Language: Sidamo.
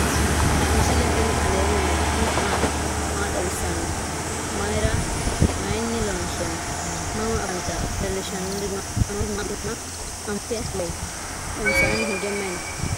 misile tini alenni nooti maati? maa xawissanno? Maayinni loonisoonni? mama affanttanno? leelishanori maati? manootu maa udidhe maa amaxitte nooreetti? badheensanni hige mayi noo?